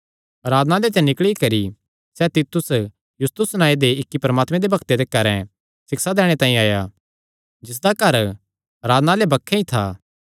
आराधनालय ते निकल़ी करी सैह़ तीतुस युस्तुस नांऐ दे इक्की परमात्मे दे भक्ते दे घरैं सिक्षा दैणे तांई आया जिसदा घर आराधनालय बक्खे ई था